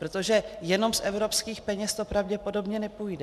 Protože jenom z evropských peněz to pravděpodobně nepůjde.